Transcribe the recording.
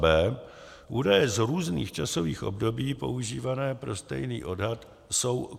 b) údaje z různých časových období používané pro stejný odhad jsou